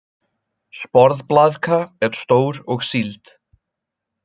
Sporðblaðka er stór og sýld.